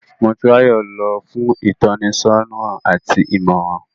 Motunrayo lọ fun itọnisọna ati imọran